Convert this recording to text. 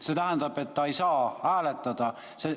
See tähendab, et ta ei saa hääletada.